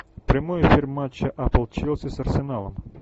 прямой эфир матча апл челси с арсеналом